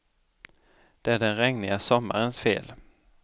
Det är den regniga sommarens fel.